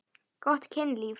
Gott kynlíf.